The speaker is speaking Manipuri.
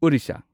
ꯑꯣꯔꯤꯁꯥ